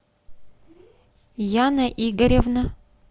яна игоревна